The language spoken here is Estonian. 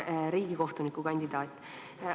Hea riigikohtuniku kandidaat!